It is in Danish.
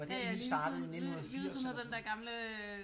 Ja ja lige ved siden lige ved siden af den dér gamle øh